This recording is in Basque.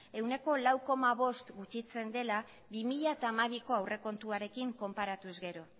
ehuneko lau koma bost gutxitzen dela bi mila hamabiko aurrekontuarekin konparatuz gero